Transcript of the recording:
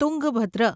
Tungabhadra